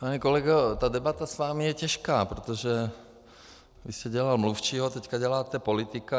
Pane kolego, ta debata s vámi je těžká, protože vy jste dělal mluvčího, teďka děláte politika.